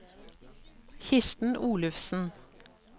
Kirsten Olufsen